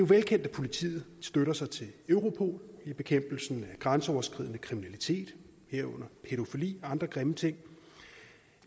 velkendt at politiet støtter sig til europol i bekæmpelsen af grænseoverskridende kriminalitet herunder pædofili andre grimme ting